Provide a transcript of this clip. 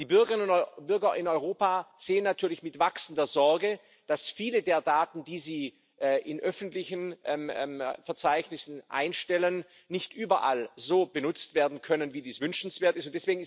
Die Bürgerinnen und Bürger in Europa sehen natürlich mit wachsender Sorge, dass viele der Daten, die sie in öffentlichen Verzeichnissen einstellen, nicht überall so benutzt werden können, wie dies wünschenswert ist.